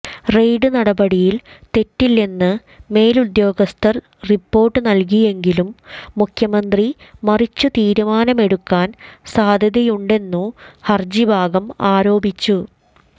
raid നടപടിയിൽ തെറ്റില്ലെന്നു മേലുദ്യോഗസ്ഥർ റിപ്പോർട്ട് നൽകിയെങ്കിലും മുഖ്യമന്ത്രി മറിച്ചു തീരുമാനമെടുക്കാൻ സാധ്യതയുണ്ടെന്നു ഹർജിഭാഗം ആരോപിച്ചു